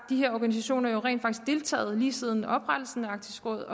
de her organisationer rent faktisk har deltaget lige siden oprettelsen af arktisk råd